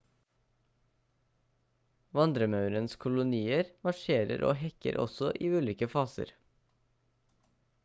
vandremaurens kolonier marsjerer og hekker også i ulike faser